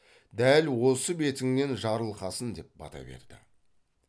дәл осы бетіңнен жарылқасын деп бата берді